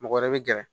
Mɔgɔ wɛrɛ bɛ gɛrɛ